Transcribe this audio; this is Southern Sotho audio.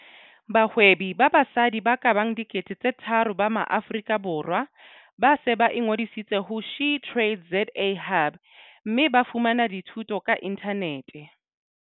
Bahwebi ba basadi ba ka bang 3 000 ba Maaforika Borwa ba se ba ingodisitse ho SheTradesZA Hub mme ba fumana dithuto ka inthanete.